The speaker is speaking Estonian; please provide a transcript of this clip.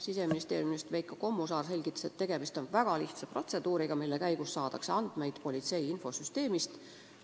Siseministeeriumi osakonnajuhataja Veiko Kommusaar selgitas, et tegemist on väga lihtsa protseduuriga, mille käigus saadakse andmeid politsei infosüsteemist.